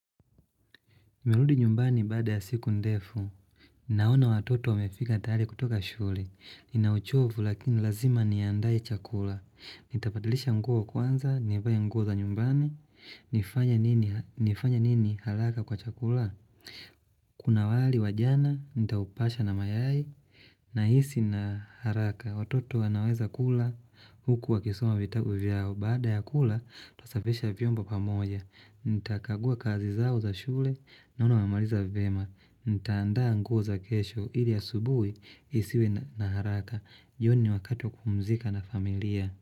Nimeludi nyumbani bada ya siku ndefu, naona watoto wamefika tayari kutoka shule, ninauchovu lakini lazima nianda chakula, nitabadilisha nguo kwanza, nivae nguo za nyumbani, nifanye nini halaka kwa chakula, kuna wali wajana, nitaupasha na mayai, nahisi na haraka, watoto wanaweza kula, huku wa kisoma vitabu vyao, bada ya kula, tusafisha vyomba pamoja, Nita kagua kazi zao za shule na una mamaliza vema Nitaandaa nguo za kesho ili asubui isiwe na haraka jioni ni wakati kupumzika na familia.